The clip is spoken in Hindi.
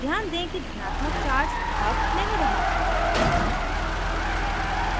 ध्यान दें कि धनात्मक charge अब नहीं रहा